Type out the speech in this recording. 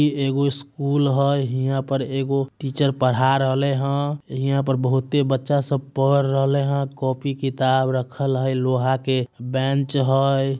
इ एगो स्कूल हय। हीया पर एगो टीचर पढ़ा रहले हय। हीया पर बहूते बच्चा सब पढ़ रहले हय। कॉपी किताब रखल हय लोहा के बेंच हय।